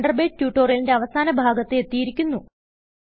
Thunderbird ട്യൂട്ടോറിയലിന്റെ അവസാന ഭാഗത്ത് എത്തിയിരിക്കുന്നു